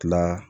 Tila